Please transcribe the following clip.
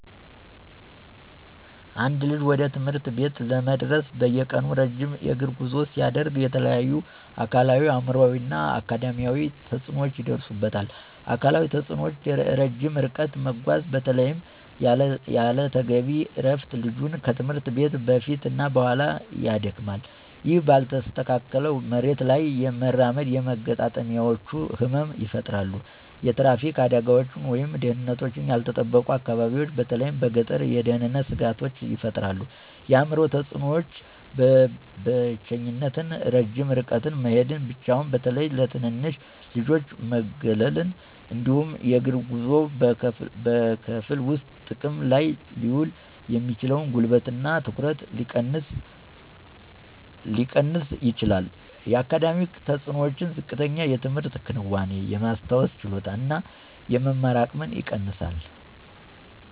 አንድ ልጅ ወደ ትምህርት ቤት ለመድረስ በየቀኑ ረጅም የእግር ጉዞ ሲያደርግ የተለያዩ አካላዊ፣ አእምሯዊ እና አካዳሚያዊ ተጽዕኖዎች ይደርሱበታል። አካላዊ ተጽእኖዎች - ረጅም ርቀት መጓዝ በተለይም ያለ ተገቢ እረፍት ልጁን ከትምህርት ቤት በፊት እና በኋላ ያደክማል። ይህ ባልተስተካከለ መሬት ላይ መራመድ የመገጣጠሚያዎች ህመም ይፈጠራሉ። የትራፊክ አደጋዎች ወይም ደህንነታቸው ያልተጠበቁ አካባቢዎች በተለይ በገጠር የደህንነት ስጋቶች ይፈጥራል። የአእምሮ ተፅእኖዎች - ብቸኝነት ረጅም ርቀት መሄድ ብቻውን በተለይ ለትንንሽ ልጆች መገለል። እንዲሁም የእግር ጉዞው በክፍል ውስጥ ጥቅም ላይ ሊውል የሚችለውን ጉልበት እና ትኩረት ሊቀንስ ይችላል። የአካዳሚክ ተፅእኖዎች - ዝቅተኛ የትምህርት ክንዋኔ፣ የማስታወስ ችሎታን እና የመማር አቅምን ይቀንሳል።